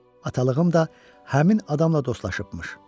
Atalığım da həmin adamla dostlaşıbmış.